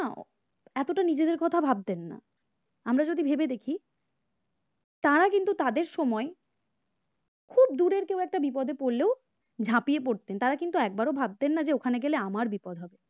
এতটা নিজেদের কথাও ভাবতে নেই আমরা যদি ভেবে দেখি তারা কিন্তু তাদের সময় খুব দূরের কেউ একটা বিপদে পড়লো ঝাঁপিয়ে পড়তেন তারা কিন্তু একবারও ভাববেন না যে ওখানে গেলে আমাদের বিপদ হবে